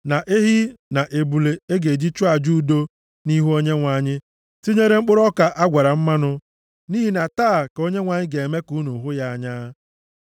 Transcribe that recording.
na ehi, na ebule a ga-eji chụọ aja udo nʼihu Onyenwe anyị, tinyere mkpụrụ ọka a gwara mmanụ. Nʼihi na taa ka Onyenwe anyị ga-eme ka unu hụ ya anya.’ ”